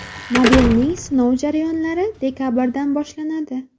Modelning sinov jarayonlari dekabrdan boshlanadi.